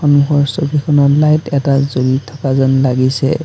সন্মুখৰ ছবিখনত লাইট এটা জ্বলি থকা যেন লাগিছে।